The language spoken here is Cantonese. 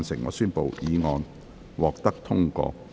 我宣布議案獲得通過。